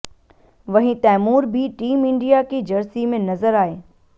वहीं तैमूर भी team India की जर्सी में नज़र आए